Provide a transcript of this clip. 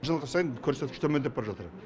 жыл сайын көрсеткіш төмендеп бара жатыр